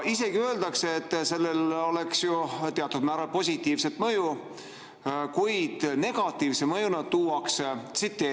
Isegi öeldakse, et sellel oleks ju teatud määral positiivset mõju, kuid negatiivse mõjuna tuuakse välja :"[...